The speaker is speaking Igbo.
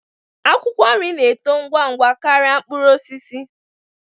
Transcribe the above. Akwụkwọ nri na-eto ngwa ngwa karịa mkpụrụ osisi